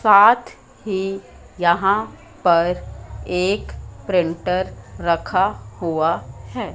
साथ ही यहां पर एक प्रिंटर रखा हुआ है।